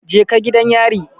Je ka gidan yari